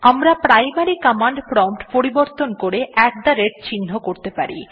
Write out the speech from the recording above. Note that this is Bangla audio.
আমরা প্রাইমারি কমান্ড প্রম্পট পরিবর্তন করে আত থে rateltgt চিহ্ন করতে পারি